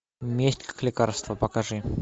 месть как лекарство покажи